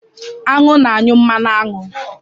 Aṅụ na-anyụ mmanụ aṅụ.